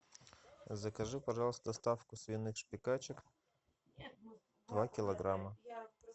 закажи пожалуйста доставку свиных шпикачек два килограмма